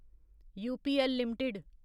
UPL limited